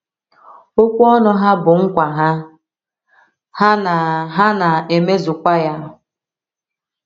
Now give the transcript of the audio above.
Okwu ọnụ ha bụ nkwa ha, ha na - ha na - emezukwa ya.